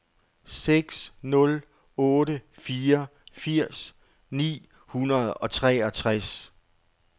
seks nul otte fire firs ni hundrede og treogtres